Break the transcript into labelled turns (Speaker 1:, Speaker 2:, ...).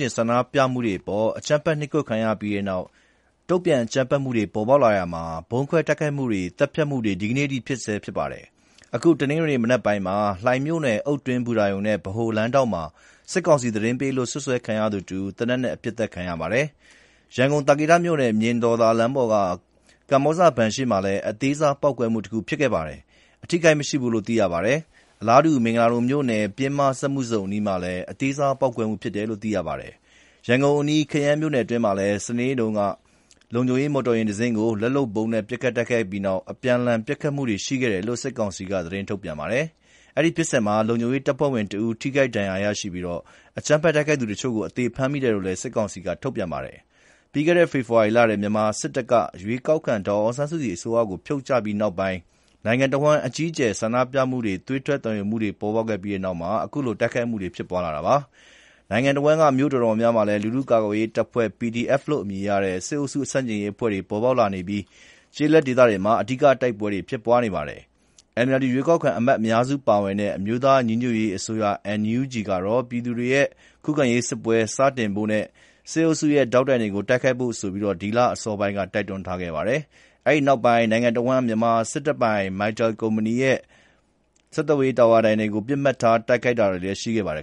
Speaker 1: ကျင်ဆန္ဒပြမှုတွေ အကြမ်းဖက် နှိပ်ကွပ်ခံရပြီးနောက် တုံ့ပြန်အကြမ်းဖက်မှုတွေ ဖြစ်လာရာမှာ ဗုံးခွဲတိုက်ခိုက်မှုတွေ၊ သတ်ဖြတ်မှုတွေ ဒီကနေ့အထိ ဖြစ်နေဆဲရှိပါတယ်။ အခု တနင်္ဂနွေနေ့ မနက်ပိုင်းမှာ လှိုင်မြို့နယ် အုတ်ကျင်းဘူတာရုံလမ်းနဲ့ ဗဟိုလမ်းထောင့်မှာ စစ်ကောင်စီသတင်းပေးလို့ စွပ်စွဲခံရသူတဦး သေနတ်နဲ့ ပစ်ခတ်ခံရပါတယ်။ ရန်ကုန် သာကေတမြို့နယ် မြင်တော်သာလမ်းမပေါ်က ကမ္ဘောဇဘဏ်ရှေ့မှာ အသေးစား ပေါက်ကွဲမှုတခု ဖြစ်ခဲ့ပြီး အထိအခိုက်မရှိဘူးလို့ သိရပါတယ်။ အလားတူ မင်္ဂလာဒုံမြို့နယ် ပျဉ်းမပင်စက်မှုဇုန်အနီးမှာလည်း အသေးစားပေါက်ကွဲမှု ဖြစ်တယ်လို့ သိရပါတယ်။ ရန်ကုန်အနီး ခရမ်းမြို့နယ်တွင်းမှာလည်း စနေနေ့တုန်းက လုံခြုံရေး မော်တော်ယာဉ်တစီးကို လက်လုပ်ဗုံးနဲ့ ပစ်ခတ်တိုက်ခိုက်ပြီးနောက် အပြန်အလှန် ပစ်ခတ်မှုတွေ ရှိခဲ့တယ်လို့ စစ်ကောင်စီက ထုတ်ပြန်ပါတယ်။ အဲဒီဖြစ်စဉ်မှာ လုံခြုံရေးတပ်ဖွဲ့ဝင်တဦး ထိခိုက်ဒဏ်ရာရပြီး အကြမ်းဖက်တိုက်ခိုက်သူ တချို့ကို အသေဖမ်းမိတယ်လို့လည်း စစ်ကောင်စီက ထုတ်ပြန်ပါတယ်။ ပြီးခဲ့တဲ့ ဖေဖော်ဝါရီလထဲ မြန်မာစစ်တပ်က ရွေးကောက်ခံ ဒေါ်အောင်ဆန်းစုကြည် အစိုးရကို ဖြုတ်ချပြီးနောက်ပိုင်း နိုင်ငံတဝန်း အကြီးအကျယ် ဆန္ဒပြမှုတွေ၊ သွေးထွက်သံယို ဖိနှိပ်မှုတွေ ပေါ်ပေါက်ခဲ့ပြီးနောက်ပိုင်း အခုလို တိုက်ခိုက်မှုတွေ ဖြစ်ပွားလာတာပါ။ နိုင်ငံတဝန်းက မြို့တော်တော်များများမှာ လူထုကာကွယ်ရေးတပ်ဖွဲ့ PDF လို့ အမည်ရတဲ့ စစ်အုပ်စုဆန့်ကျင်ရေး အဖွဲ့တွေ ပေါ်ပေါက်လာနေပြီး ကျေးလက်ဒေသတွေမှာ အဓိက တိုက်ပွဲတွေ ဖြစ်ပွားနေပါတယ်။ NLD ရွေးကောက်ခံအမတ် အများစုပါဝင်တဲ့ အမျိုးသားညီညွတ်ရေးအစိုးရ (NUG) ကတော့ ပြည်သူတွေရဲ့ ခုခံရေးစစ်ပွဲ စတင်ဖို့နဲ့ စစ်အုပ်စုရဲ့ ဒေါက်တိုင်တွေကို တိုက်ခိုက်ဖို့ဆိုပြီး ဒီလအစောပိုင်းက တိုက်တွန်းခဲ့ပါတယ်။ အဲဒီနောက်ပိုင်း နိုင်ငံတဝန်း မြန်မာစစ်တပ်ပိုင် Mytel ကုမ္ပဏီရဲ့ ဆက်သွယ်ရေးတာဝါတိုင်တွေကို ပစ်မှတ်ထား တိုက်ခိုက်လာတာတွေလည်း ရှိခဲ့ပါတယ်